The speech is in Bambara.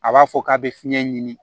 A b'a fɔ k'a bɛ fiɲɛ ɲini